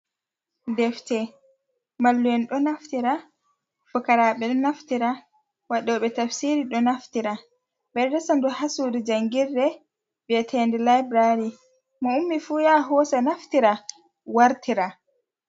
Defte mallum'en ɗo naftira ,fukaraaɓe ɗo naftira, waɗoɓe tafsiru ɗo naftira ,ɓe ɗo resa ndu haa suudu janngirde, wi'ete nde labulari mo'ummi fu yaha hoosa naftira wartira.